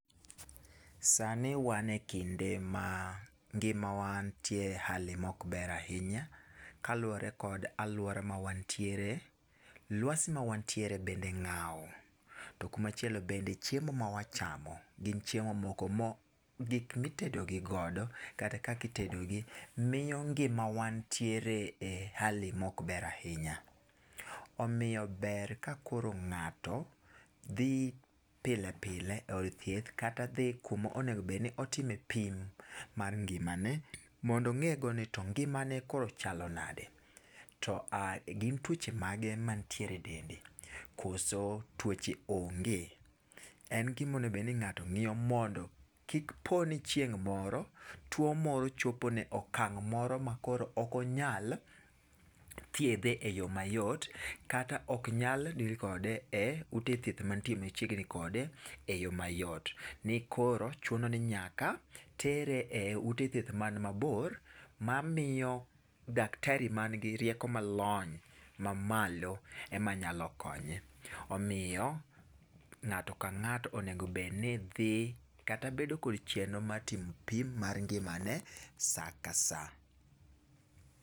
Sani wan ekinde ma ngimawa nitie e hali ma ok ber ahinya kaluwore kod aluora ma wantiere. Luasi ma wantiere bende ng'aw, to kumachielo bende chiemo ma wachamo, gin chiemo moko gik ma itedogi godo kitedogi miyo ngima wa nitiere e hali ma ok ber ahinya. Omiyo ber ka koro ng'ato dhi pile pile e od thieth kata dhi kuma owinjo bed ni otime pim mar ngimane mondo ong'e go nito ngimane koro chalo nade. To gin tuoche mage mantiere e dendi koso tuoche onge. En gima onego bed ni ng'ato ng'iyo mondo kik po ni chieng' moro tuo moro chopo ne okang' moro makoro ok onyal thiedhe eyo mayot kata ok nyal deal kode e ute thieth mantie machiegni kode eyo mayot. Nikoro chuno ni nyaka tere e ute thieth man mabor mamiyo daktari man gi rieko lony mamalo ema nyalo konye. Omiyo, ng'ato ka ng'ato onego bed ni dhi kata bedo gi chenro mar timo pim mar ngimane saa ka saa.